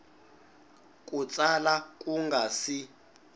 ku tsala ku nga si